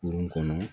Kurun kɔnɔ